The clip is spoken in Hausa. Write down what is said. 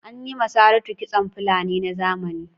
An yi ma Saratu kitson Fulani na zamani.